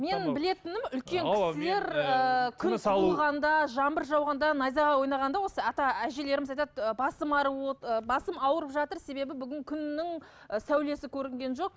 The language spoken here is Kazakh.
менің білетінім үлкен кісілер ыыы жаңбыр жауғанда найзағай ойнағанда осы ата әжелеріміз айтады басым ауырып жатыр себебі бүгін күннің і сәулесі көрінген жоқ